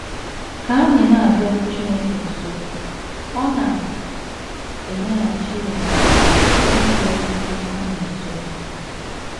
Ka anyị na - abịaru Chineke nso, ọ na - emeghachi omume site n’ịbịarukwu anyị nso.